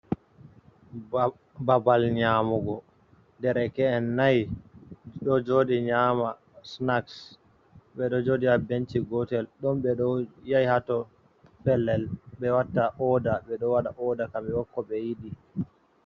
Babal nyamugo der ke'en nai ɗo joɗi nyama sinaks, ɓeɗo joɗi habenci gotel don ɓe ɓeɗo yahi hato pellel ɓe watta oda, beɗo waɗa oda kamɓebo koɓe yiɗi.